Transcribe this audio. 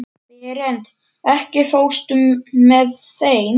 Berent, ekki fórstu með þeim?